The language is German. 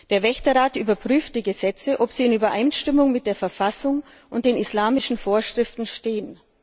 Der Wächterrat überprüft, ob die Gesetze in Übereinstimmung mit der Verfassung und den islamischen Vorschriften stehen.